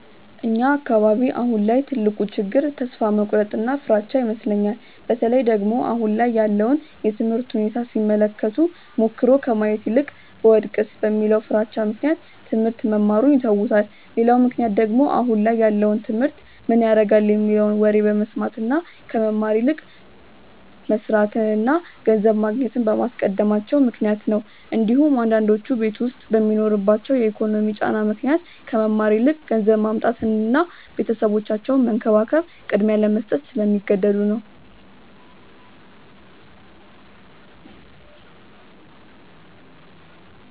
እኛ አካባቢ አሁን ላይ ትልቁ ችግር ተስፋ መቁረጥ እና ፍራቻ ይመስለኛል። በተለይ ደግሞ አሁን ላይ ያለውን የትምህርት ሁኔታ ሲመለከቱ ሞክሮ ከማየት ይልቅ ብወድቅስ በሚለው ፍራቻ ምክንያት ትሞህርት መማሩን ይተውታል። ሌላው ምክንያት ደግሞ አሁን ላይ ያለውን ትምህርት ምን ያረጋል የሚለውን ወሬ በመስማት እና ከመማር ይልቅ መስርትን እና ገንዘብ ማግኘትን በማስቀደማቸው ምክንያት ነው እንዲሁም አንዳንዶቹ ቤት ዉስጥ በሚኖርባቸው የኢኮኖሚ ጫና ምክንያት ከመማር ይልቅ ገንዘብ ማምጣትን እና ቤተሰባቸውን መንከባከብን ቅድሚያ ለመስጠት ስለሚገደዱ ነው።